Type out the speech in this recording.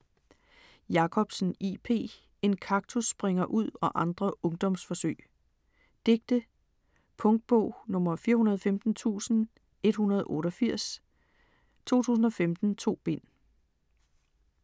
Jacobsen, J. P.: En Kaktus springer ud og andre Ungdomsforsøg Digte. Punktbog 415188 2015. 2 bind.